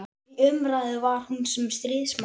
Í umræðu var hún sem stríðsmaður.